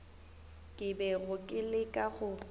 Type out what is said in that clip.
ke bego ke leka go